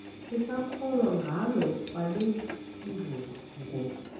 sisakholwa ngala mabedengu